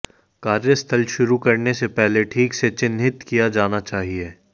कार्य स्थल शुरू करने से पहले ठीक से चिह्नित किया जाना चाहिए